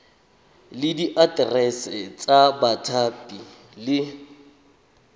le diaterese tsa bathapi le